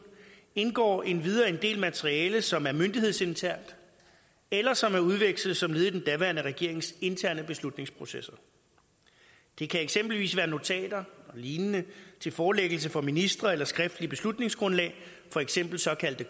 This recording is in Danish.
indgår endvidere en del materiale som er myndighedsinternt eller som er udvekslet som led i den daværende regerings interne beslutningsprocesser det kan eksempelvis være notater og lignende til forelæggelse for ministre eller skriftlige beslutningsgrundlag for eksempel såkaldte